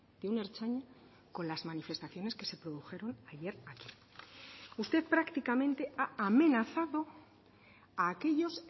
de un ertzaina con las manifestaciones que se produjeron ayer aquí usted prácticamente ha amenazado a aquellos